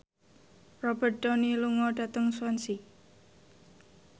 Robert Downey lunga dhateng Swansea